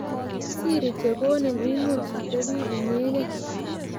siri che konin imuch itebi inyegei